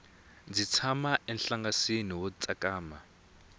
ndzi tshama enhlangasini wo tsakama